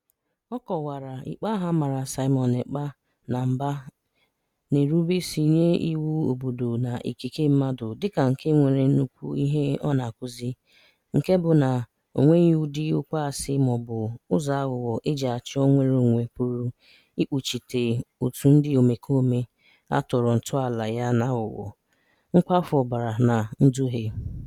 Ọ kọwara ikpe ahụ a mara Simon Ekpa na mba na-erubeisi nye iwu obodo na ikike mmadụ dịka nke nwere nnukwu ihe ọ na-akụzi, nke bụ na o nweghị ụdị okwu asị maọbụ ụzọ aghụghọ e ji achọ "nnwereonwe" pụrụ ikpuchite òtù ndị omekome a tọrọ ntọala ya n'aghụghọ, nkwafu ọbara na nduhie.